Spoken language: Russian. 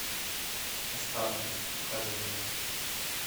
останки покажи мне